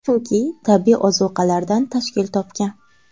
Chunki tabiiy ozuqalardan tashkil topgan.